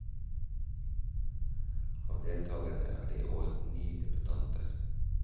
Av deltagerne er det i år ni debutanter.